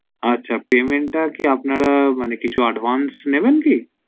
আচ্ছা payment টা কি আপনারা মানে কিছু advice নেবেন কি